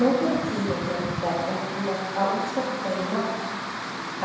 Nú voru tíðindi gerð opinber á útskriftardegi margra,